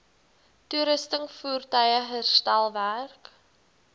toerusting voertuie herstelwerk